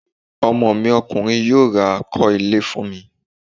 Ọmọ mi Ọkùnrin yóò ra kọ́ ilé fún mi